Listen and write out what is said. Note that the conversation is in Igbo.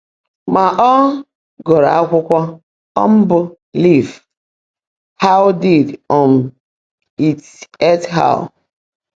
Mà, ọ́ gụ́rụ́ ákwụ́kwọ́ um bụ́ Lị́f — Hã́w Díid um Ít Gẹ́t Hiír?